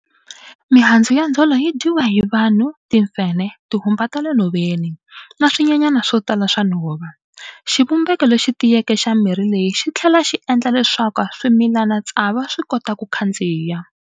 Mihandzu ya Ndzhole yi dyiwa hi vanhu, timfenhe, tihumba ta le nhoveni, na swinyenyana swo tala swa nhova. Xivumbeko lexi tiyeke xa mirhi leyi xi tlhela xi endla leswaku swimilanatsavu swi kota ku khandziya.